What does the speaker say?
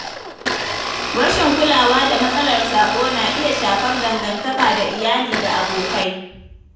Rashin kulawa da matsalar sabo na iya shafar dangantaka da iyali da abokai.